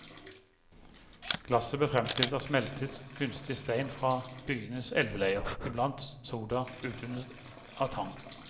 Glasset ble fremstilt av smeltet, knust stein fra byens elveleier, iblandet soda utvunnet av tang.